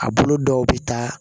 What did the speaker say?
A bolo dɔw bɛ taa